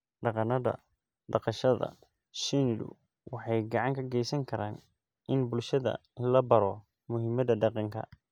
Dhaqannada dhaqashada shinnidu waxay gacan ka geysan karaan in bulshada la baro muhiimadda deegaanka.